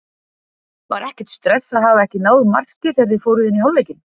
Var ekkert stress að hafa ekki náð marki þegar þið fóruð inn í hálfleikinn?